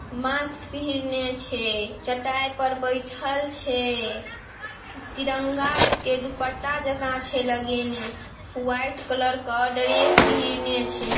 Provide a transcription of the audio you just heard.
माक्स पीहनने छे। चटाई पर बैठल छे। तिरंगा के दुपट्टा जका छे लगे में। व्हाइट कलर का ड्रेस पीहनने छे।